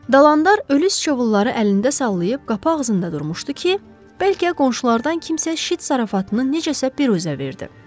Dalandar ölü sıçovulları əlində sallayıb qapı ağzında durmuşdu ki, bəlkə qonşulardan kimsə şit zarafatını necəsə peruzə verdi.